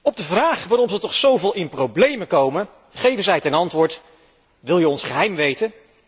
Op de vraag waarom zij toch zo veel in de problemen komen geven zij ten antwoord Wil je ons geheim weten?